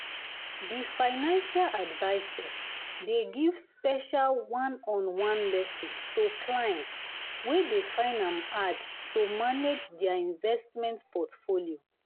the financial advisor dey give special one-on-one lesson to clients wey dey find am hard to manage their investment portfolio.